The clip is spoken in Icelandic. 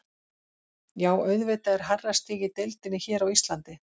Já auðvitað er hærra stig í deildinni hér á Íslandi.